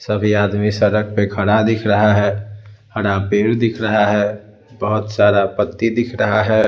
सभी आदमी सड़क पर खड़ा दिख रहा है हरा पेड़ दिख रहा है बहोत सारा पत्ती दिख रहा है।